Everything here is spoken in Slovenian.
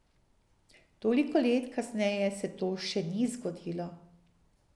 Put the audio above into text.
Toliko let kasneje se to še ni zgodilo.